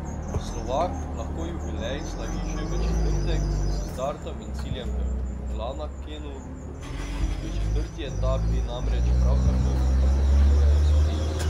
Slovak lahko jubilej slavi že v četrtek s startom in ciljem v Lanakenu, v četrti etapi namreč prav tako napovedujejo sprint.